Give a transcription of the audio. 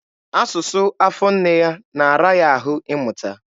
Asụsụ afọ nne ya na-ara ya ahụ ịmụta.